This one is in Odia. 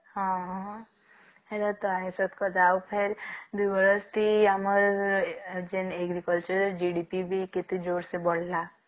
ହଁ ଆଉ ଫେର ଦୁଇ ବରଷ ଟି ଆମର ଯେନ agriculture JDBP କେତେ ଜୋର ସେ ବଢିଲା